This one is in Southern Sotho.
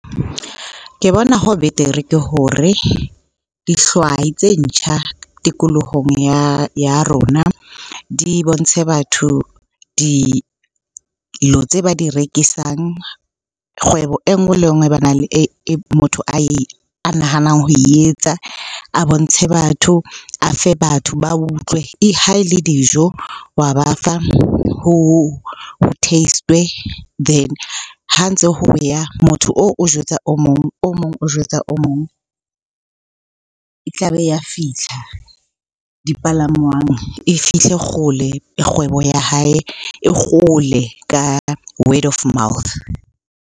Ke bona ho betere ke hore dihlwai tse ntjha tikolohong ya rona di bontshe batho dilo tse ba di rekisang, kgwebo enngwe le enngwe motho a nahanang ho etsa, a bontshe batho, a fe batho ba utlwe. Ha e le dijo, wa ba fa ho test-we. Then ha ntse ho ya motho oo o jwetsa o mong, o mong o jwetsa o mong. E tlabe e ya fitlha dipalangwang, e fitlhe kgole kgwebo ya hae, e kgole ka word of mouth.